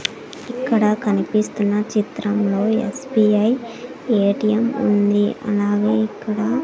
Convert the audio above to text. ఇక్కడ కనిపిస్తున్న చిత్రంలో ఎస్_బి_ఐ ఎ_టి_ఎం ఉంది అలాగే ఇక్కడ--